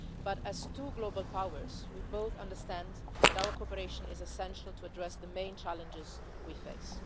But, as two global powers, we both understand that our cooperation is essential to address the main challenges we face.